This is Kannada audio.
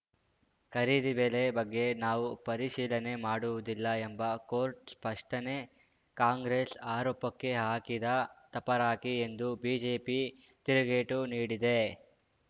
ಖರೀದಿ ಬೆಲೆ ಬಗ್ಗೆ ನಾವು ಪರಿಶೀಲನೆ ಮಾಡುವುದಿಲ್ಲ ಎಂಬ ಕೋರ್ಟ್‌ ಸ್ಪಷ್ಟನೆ ಕಾಂಗ್ರೆಸ್‌ ಆರೋಪಕ್ಕೆ ಹಾಕಿದ ತಪರಾಕಿ ಎಂದು ಬಿಜೆಪಿ ತಿರುಗೇಟು ನೀಡಿದೆ